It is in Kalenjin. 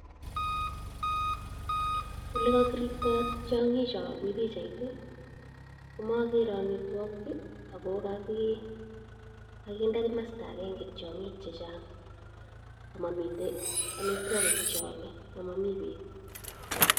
Ole ko kiripto ting'icho mi pichait komokere amitwogik ago kokinde komosto agenge tiong'ik che chang ama miten amitwogik che ome ama mi beek.